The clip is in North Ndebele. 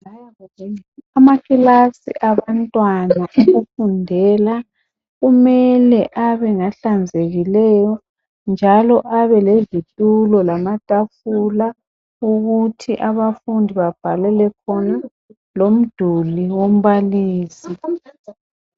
amaklilasi abantwana okufundela kumele ebe ngahlanzekileyo njalo abe lezitulo lama tafula ukuthi abafundi babhalele khona loduli kambalisi